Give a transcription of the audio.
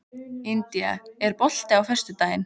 India, er bolti á föstudaginn?